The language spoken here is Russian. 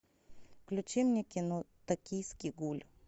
включи мне кино токийский гуль